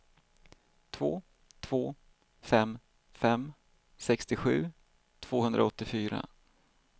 två två fem fem sextiosju tvåhundraåttiofyra